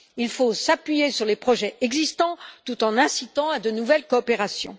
Il faut s'appuyer sur les projets existants tout en incitant à de nouvelles coopérations.